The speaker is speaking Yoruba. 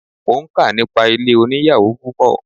Mo ń kà nípa ilé oníyàwò púpọ̀.